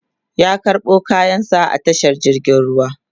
ya karɓo kayan sa a tashar jirgin ruwa